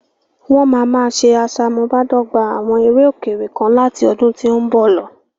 Wọ́n máa máa ṣe asamubádọ́gba àwọn eré òkèèrè kan láti ọdún tí ó ń bọ̀ lọ.